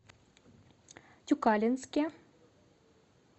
тюкалинске